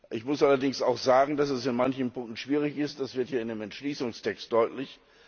Ich muss allerdings auch sagen, dass es in manchen Punkten schwierig ist, das wird hier in dem Entschließungstext deutlich.